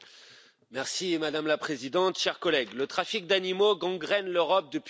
Madame la Présidente, chers collègues, le trafic d'animaux gangrène l'Europe depuis des années.